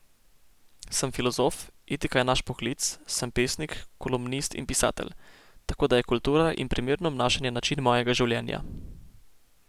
Sem filozof, etika je naš poklic, sem pesnik, kolumnist in pisatelj, tako da je kultura in primerno obnašanje način mojega življenja.